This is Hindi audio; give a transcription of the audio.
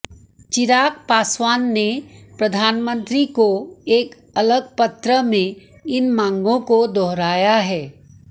चिराग पासवान ने प्रधान मंत्री को एक अलग पत्र में इन मांगों को दोहराया है